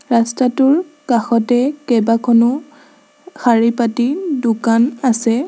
ৰাস্তাটোৰ কাষতে কেইবাখনো শাৰীপাতি দোকান আছে।